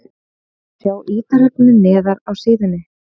Sjá ítarefni neðar á síðunni